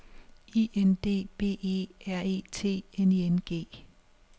I N D B E R E T N I N G